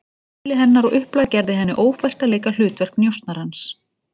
Eðli hennar og upplag gerði henni ófært að leika hlutverk njósnarans.